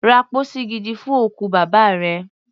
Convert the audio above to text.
Ra pósí gidi fún òkú bàbá rẹ.